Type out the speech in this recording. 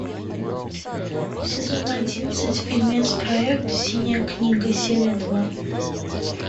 сезон одиннадцать фильмец проект синяя книга серия два